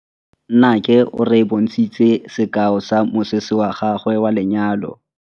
Nnake o re bontshitse sekaô sa mosese wa gagwe wa lenyalo.